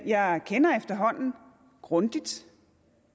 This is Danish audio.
jeg kender efterhånden grundigt